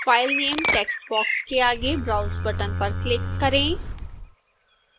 file name text box के आगे browse button पर क्लिक करें